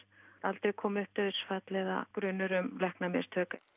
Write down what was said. aldrei komið upp dauðsfall eða grunur um læknamistök